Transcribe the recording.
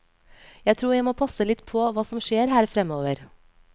Jeg tror jeg må passe litt på hva som skjer her fremover.